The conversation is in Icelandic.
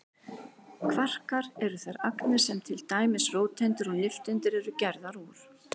Kvarkar eru þær agnir sem til dæmis róteindir og nifteindir eru gerðar úr.